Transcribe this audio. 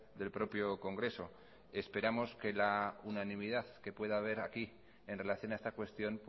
del propio congreso esperamos que la unanimidad que pueda haber aquí en relación a esta cuestión